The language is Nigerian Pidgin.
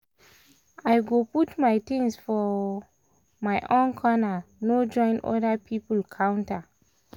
i go put my things for um my own corner no join other people counter.